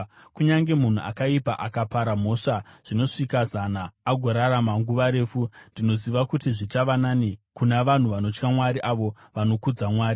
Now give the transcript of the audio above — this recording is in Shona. Kunyange munhu akaipa akapara mhosva dzinosvika zana agorarama nguva refu, ndinoziva kuti zvichava nani kuna vanhu vanotya Mwari, avo vanokudza Mwari.